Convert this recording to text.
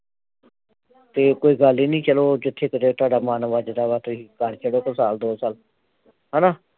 ਤੇ ਕੋਈ ਗੱਲ ਨਹੀ ਚੱਲੋ ਜਿਥੇ ਕਿਤੇ ਤੁਹਾਡਾ ਮਨ ਵੱਜਦਾ ਵਾ ਤੁਹੀ ਕਰ ਛੱਡੋ ਸਾਲ ਦੋ ਸਾਲ ਹਣਾ